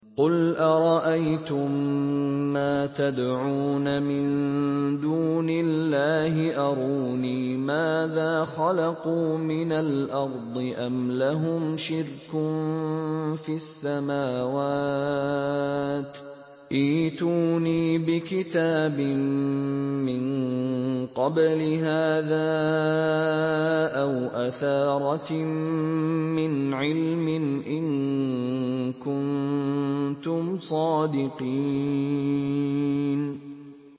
قُلْ أَرَأَيْتُم مَّا تَدْعُونَ مِن دُونِ اللَّهِ أَرُونِي مَاذَا خَلَقُوا مِنَ الْأَرْضِ أَمْ لَهُمْ شِرْكٌ فِي السَّمَاوَاتِ ۖ ائْتُونِي بِكِتَابٍ مِّن قَبْلِ هَٰذَا أَوْ أَثَارَةٍ مِّنْ عِلْمٍ إِن كُنتُمْ صَادِقِينَ